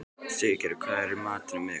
Siggerður, hvað er í matinn á miðvikudaginn?